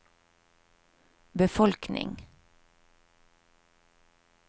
befolkning